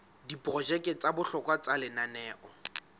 diprojeke tsa bohlokwa tsa lenaneo